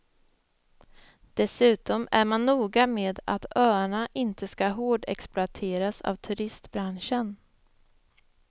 Dessutom är man noga med att öarna inte ska hårdexploateras av turistbranschen.